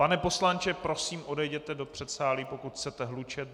Pane poslanče, prosím, odejděte do předsálí, pokud chcete hlučet.